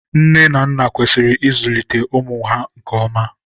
nne na nna kwesịrị ịzulite ụmụ ha nke ọma.